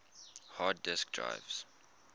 hard disk drives